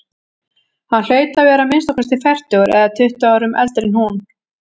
Hann hlaut að vera að minnsta kosti fertugur eða tuttugu árum eldri en hún.